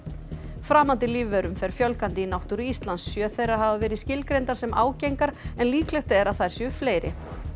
framandi lífverum fer fjölgandi í náttúru Íslands sjö þeirra hafa verið skilgreindar sem ágengar en líklegt er að þær séu fleiri